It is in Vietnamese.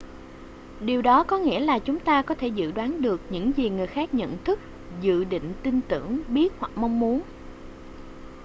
điều đó có nghĩa là chúng ta có thể dự đoán được những gì người khác nhận thức dự định tin tưởng biết hoặc mong muốn